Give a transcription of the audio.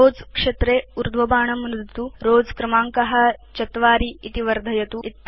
rows क्षेत्रे ऊर्ध्वबाणं नुदतु Rows क्रमाङ्क 4 इति वर्धयतु च